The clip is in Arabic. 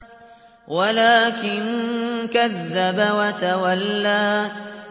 وَلَٰكِن كَذَّبَ وَتَوَلَّىٰ